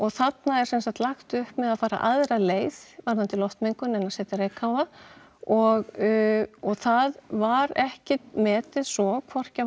þarna er semsagt lagt upp með að fara aðra leið varðandi loftmengun en að setja reykháfa og það var ekkert metið svo hvorki að